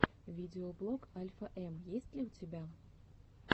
видеоблог альфа эм есть ли у тебя